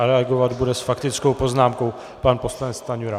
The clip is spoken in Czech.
A reagovat bude s faktickou poznámkou pan poslanec Stanjura.